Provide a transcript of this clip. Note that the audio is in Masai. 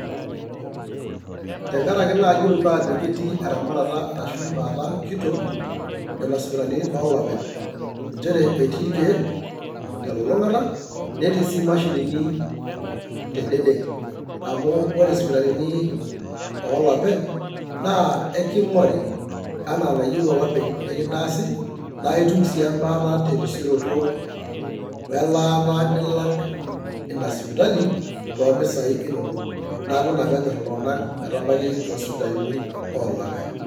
Tengaraki naa yiolo paa ajoki etii eramatata arashu embaata kitok nena sipitalini oloopeny', nchere etii irkeek te elulung'ata, netii sii imashinini te dede amu ore isipitalini oloopeny' naa eking'ori enaa enayieu olopeny' nikintaasi naa aitum sii embaata te erisioroto o elaata nilak ina sipitali too impisai inonok, neeku ina pee enyorr iltung'anak metabaki toosipitalini ooloopeny'.